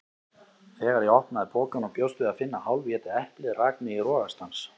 Þegar ég opnaði pokann og bjóst við að finna hálfétið eplið rak mig í rogastans.